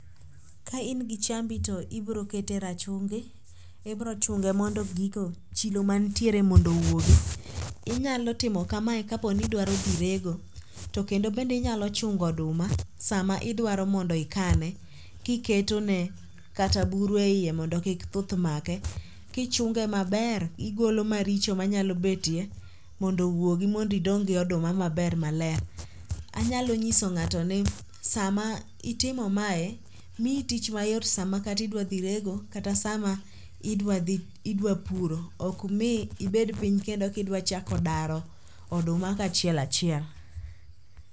Ka in gi chambi to ibroketo e rachungi, ibrochunge mondo chilo mantiere mondo owuogi. Inyalo timo kamae kaponi idwaro dhi rego, to kendo bende inyalo chungo oduma sama idwaro mondo ikane, kiketone kata buru e iye mondo kik thuth make kichunge maber kigolo maricho manyalo betie mondo owuogi mondo idong' gi oduma maber maler. Anyalo nuyiso ng'ato ni sama itimo mae, miyi tich mayot sama katidwa dhi rego kata sama idwa puro ok mi ibed piny kendo kidwa chako daro oduma kachiel achiel.